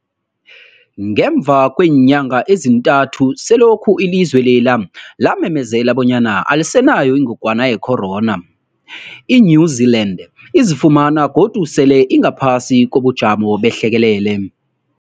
Ngemva kweenyanga ezintathu selokhu ilizwe lela lamemezela bonyana alisenayo ingogwana ye-corona, i-New-Zealand izifumana godu sele ingaphasi kobujamo behlekelele.